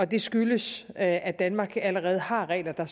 det skyldes at at danmark allerede har regler der